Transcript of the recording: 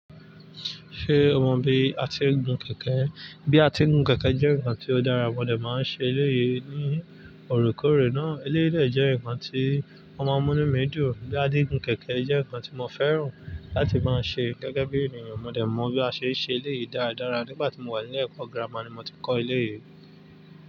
Ṣé o mọ bí a se ń gun kẹ̀kẹ́? Bí a ti ń gun kẹ̀kẹ́ jẹ́ nǹkan tó dára. Mọ̀dẹ̀ máa ń ṣe eléyìí ní òrúkòrè náà. Eléyìí de jẹ́ nǹkan tí o máa ń mu inu mi dun. Bí a ti ń gun kẹ̀kẹ́ jẹ́ nǹkan tí mo fẹ́ràn láti máa ṣe gẹ́gẹ́ bí ènìyàn. Mọ̀dẹ̀ mọ bí a ṣe ń ṣe eléyìí dáradára. Nígbà tí mo wà nílẹ̀ ẹ̀kọ́ gírámà ni mo ti kọ́ eléyìí.